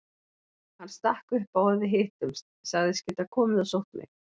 Hann stakk upp á að við hittumst, sagðist geta komið og sótt mig.